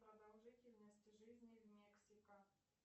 продолжительность жизни мексика